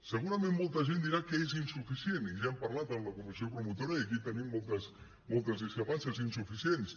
segurament molta gent dirà que és insuficient i ja n’hem parlat amb la comissió promotora i aquí tenim moltes discrepàncies insuficients